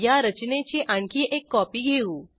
या रचनेची आणखी एक कॉपी घेऊ